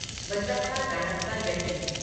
Basappa Danappa Jatti